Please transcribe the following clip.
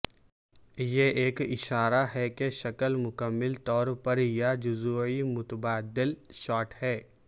یہ ایک اشارہ ہے کہ شکل مکمل طور پر یا جزوی متبادل شاٹ ہے